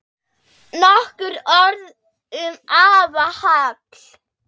Nokkur orð um afa Hall.